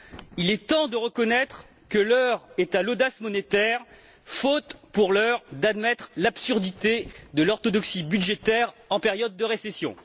Il est temps de reconnaître que l'heure est à l'audace monétaire, faute, pour l'heure, d'admettre l'absurdité de l'orthodoxie budgétaire en période de récession.